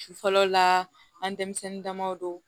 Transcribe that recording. Su fɔlɔ la an denmisɛnnin damaw don